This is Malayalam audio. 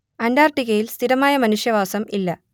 അന്റാർട്ടിക്കയിൽ സ്ഥിരമായ മനുഷ്യവാസം ഇല്ല